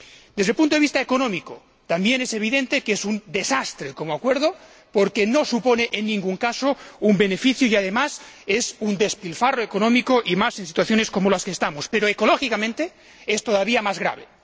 Desde el punto de vista económico, también es evidente que es un desastre como acuerdo porque no supone, en ningún caso, un beneficio, y además es un despilfarro económico, y más en situaciones como en las que estamos, pero ecológicamente es todavía más grave.